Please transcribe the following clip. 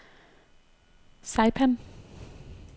Saipan